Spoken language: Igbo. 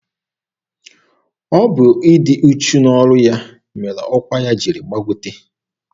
Ọ bụ ịdị uchu n'ọrụ ya mere ọkwa ya jiri gbagote.